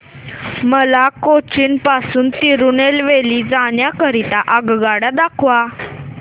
मला कोचीन पासून तिरूनेलवेली जाण्या करीता आगगाड्या दाखवा